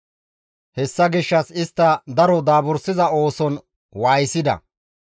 Hessa gishshas istta daro daabursiza ooson waayisida.